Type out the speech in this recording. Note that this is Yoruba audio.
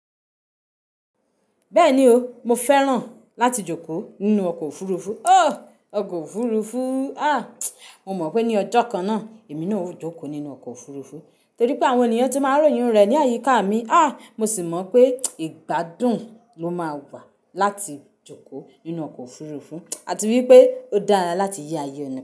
Bẹ́ẹ̀ni o, mo fẹ́ràn láti jókòó nínú ọkọ̀ òfurufú. O, ọkọ̀ òfurufú. Ah! Mo mọ̀ pé ní ọjọ́ kan náà, èmi náà ó jókòó nínú ọkọ̀ òfurufú torí pé àwọn ènìyàn tí máa ń ròyìn rẹ̀ ní àyíká mi. Ah! Mo sì mọ̀ pé ìgbádùn ló máa wà láti jókòó nínú ọkọ̀ òfurufú àti wípé ó dára láti yí ayé ẹni.